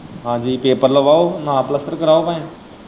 ਹਾਂਜੀ ਪੇਪਰ ਲਵਾਓ ਨਾ ਪਲੱਸਤਰ ਕਰਵਾਓ ਭਾਵੇਂ।